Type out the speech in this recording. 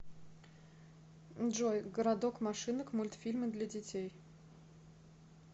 джой городок машинок мультфильмы для детей